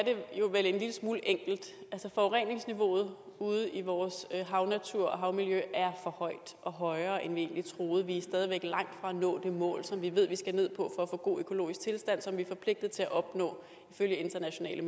vel en lille smule enkelt altså forureningsniveauet ude i vores havnatur og havmiljø er for højt og højere end vi egentlig troede vi er stadig væk langt fra at nå det mål som vi ved vi skal ned på for at få en god økologisk tilstand som vi er forpligtet til at opnå ifølge internationale